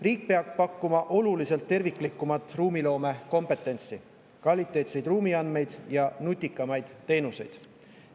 Riik peab pakkuma oluliselt terviklikumat ruumiloomet, kompetentsi, kvaliteetseid ruumiandmeid ja nutikamaid teenuseid.